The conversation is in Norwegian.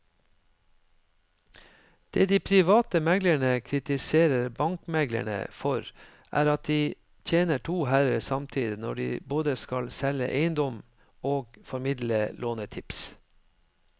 Det de private meglerne kritiserer bankmeglerne for er at de tjener to herrer samtidig når de både skal selge eiendom og formidle lånetips.